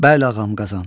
Bəli ağam Qazan.